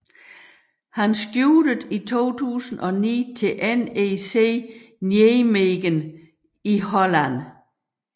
Han skiftede i 2009 til NEC Nijmegen i Holland